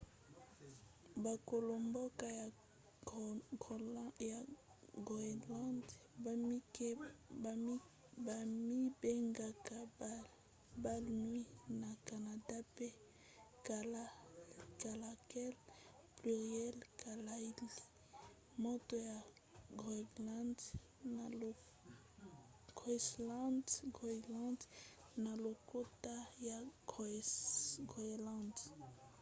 bakolo-mboka ya groenlande bamibengaka bainuits na canada pe kalaalleq pluriel kalaallit moto ya groenlande na lokota ya groenlande